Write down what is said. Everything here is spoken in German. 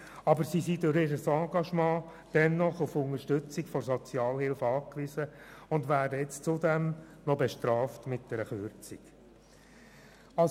Aber sie sind durch ihr Engagement dennoch auf Unterstützung der Sozialhilfe angewiesen und werden zudem noch mit einer Kürzung bestraft.